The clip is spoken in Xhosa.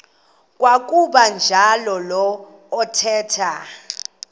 kwakuba njalo athetha